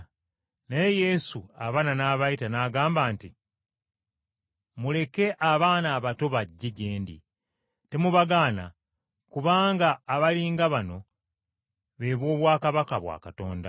Naye Yesu abaana n’abayita, n’agamba nti, “Muleke abaana abato bajje gye ndi, temubagaana, kubanga abali nga bano be b’obwakabaka bwa Katonda.